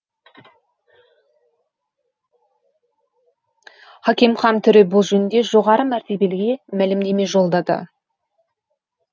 хакимхан төре бұл жөнінде жоғары мәртебеліге мәлімдеме жолдады